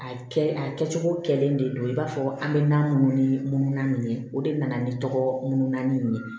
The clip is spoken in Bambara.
A kɛ a kɛcogo kɛlen de don i b'a fɔ an bɛ na minnu ni munununa nin ye o de nana ni tɔgɔuna nin ye